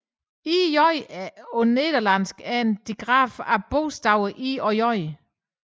Ĳ er på nederlandsk en digraf af bogstaverne I og J